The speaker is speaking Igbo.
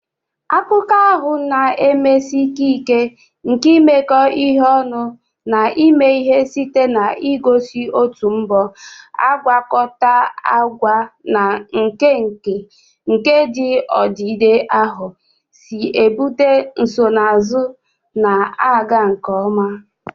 Akụkọ ahụ na-emesi ike ike nke imekọ ihe ọnụ na ime ihe site n'igosi otu mbọ agwakọta agwa na nka nka nke ndị odide ahụ si ebute nsonaazụ na-aga nke ọma.